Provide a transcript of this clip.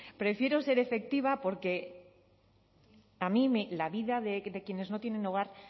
prefiero ser efectiva porque a mí la vida de quienes no tienen hogar